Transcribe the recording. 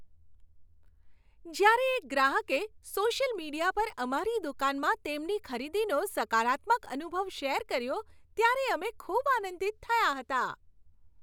જ્યારે એક ગ્રાહકે સોશિયલ મીડિયા પર અમારી દુકાનમાં તેમની ખરીદીનો સકારાત્મક અનુભવ શેર કર્યો, ત્યારે અમે ખૂબ આનંદિત થયાં હતાં.